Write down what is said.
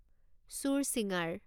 চুৰচিঙাৰ